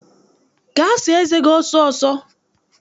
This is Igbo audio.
Gaa saa eze gi ọsọ ọsọ!